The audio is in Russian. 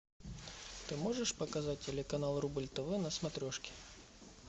ты можешь показать телеканал рубль тв на смотрешке